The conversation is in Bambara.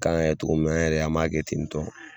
kan ka kɛ cogo min na an yɛrɛ an m'a kɛ ten tɔn.